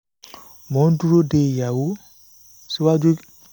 mo ń dúró de iyawò